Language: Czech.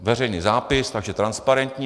Veřejný zápis, takže transparentní.